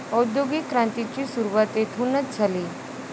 औद्योगिक क्रांतीची सुरुवात येथूनच झाली.